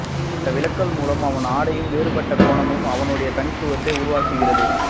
அந்த விலகல் மூலம் அவன் அடையும் வேறுபட்ட கோணமே அவனுடைய தனித்துவத்தை உருவாக்குகிறது